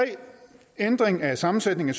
ændring af sammensætningen